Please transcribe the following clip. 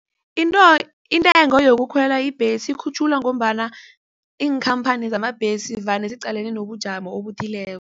Intengo yokukhwela ibhesi ikhutjhulwa ngombana iinkhamphani zamabhesi vane ziqalene nobujamo obuthileko.